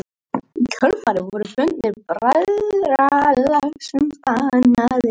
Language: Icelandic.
Í kjölfarið voru fundir bræðralagsins bannaðir.